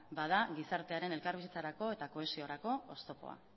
bada gizartearen elkarbizitzarako eta kohesiorako oztopoa